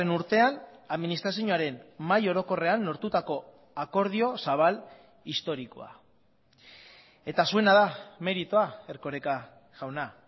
urtean administrazioaren mahai orokorrean lortutako akordio zabal historikoa eta zuena da meritua erkoreka jauna